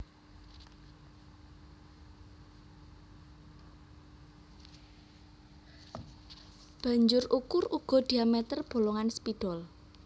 Banjur ukur uga diameter bolongan spidol